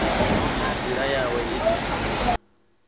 na nḓila yawe ine a